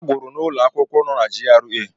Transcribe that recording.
Ha gụrụ n'ụlọ akwụkwọ nọ na GRA.